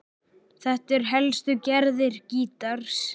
Þetta eru helstu gerðir gítars